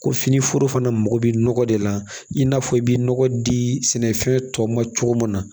Ko fini foro fana mago bɛ nɔgɔ de la i n'a fɔ i bɛ nɔgɔ di sɛnɛfɛn tɔw ma cogo min na